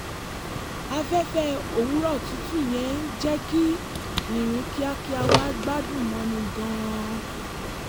afẹ́fẹ́ òwúrọ̀ tutù yẹn jẹ́ kí ìrìn kíákíá wa gbádùn mọ́ni gan-an